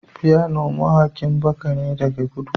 phyno mawaƙin baka ne daga kudu